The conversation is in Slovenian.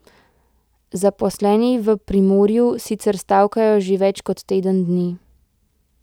Zaposleni v Primorju sicer stavkajo že več kot teden dni.